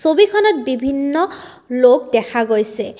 ছবিখনত বিভিন্ন লোক দেখা গৈছে।